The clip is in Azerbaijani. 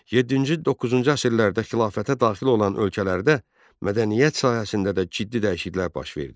Yeddinci-doqquzuncu əsrlərdə xilafətə daxil olan ölkələrdə mədəniyyət sahəsində də ciddi dəyişikliklər baş verdi.